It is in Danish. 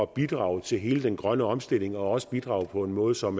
bidrage til hele den grønne omstilling og også bidrage på en måde som